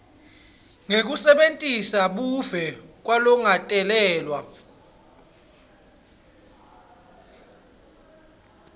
ngekusebentisa buve kwalongakatalelwa